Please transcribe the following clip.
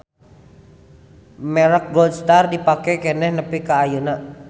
Merek Gold Star dipake keneh nepi ka ayeuna